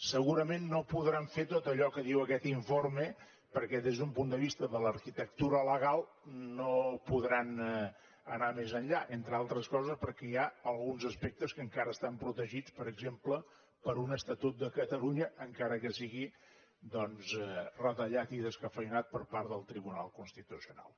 segurament no podran fer tot allò que diu aquest informe perquè des d’un punt de vista de l’arquitectura legal no podran anar més enllà entre altres coses perquè hi ha alguns aspectes que encara estan protegits per exemple per un estatut de catalunya encara que sigui doncs retallat i descafeïnat per part del tribunal constitucional